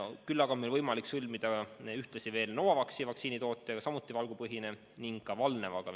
Küll aga on meil võimalik sõlmida veel leping Novavaxi vaktsiini tootjaga, mis on samuti valgupõhine vaktsiin, ning ka Valnevaga.